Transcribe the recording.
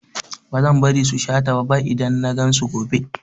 Bazan bari su sha taba ba idan nagan su gobe